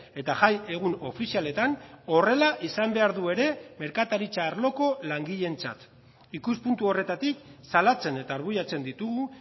eta jai egun ofizialetan horrela izan behar du ere merkataritza arloko langileentzat ikuspuntu horretatik salatzen eta arbuiatzen ditugu